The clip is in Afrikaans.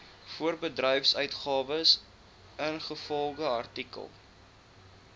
voorbedryfsuitgawes ingevolge artikel